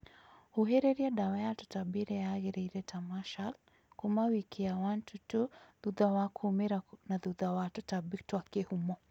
huhĩrĩria dawa ya tũtambi ĩrĩa ya gĩrĩire ta 'marshal' kuuma wiki 1-2 thutha wa kuumĩra na thutha wa tutambi twa kihumo